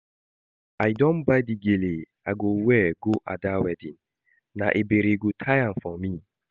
I don buy the gele I go wear go Ada wedding, na Ebere go tie am for me